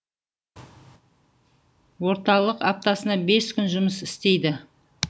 орталық аптасына бес күн жұмыс істейді